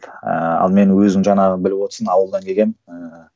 ыыы ал мен өзің жаңағы біліп отырсың ауылдан келгенмін ыыы